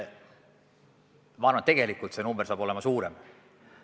Ma arvan, et tegelikult see number saab olema suurem.